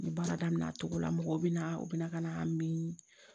N ye baara daminɛ a cogo la mɔgɔw bɛ na u bɛ na min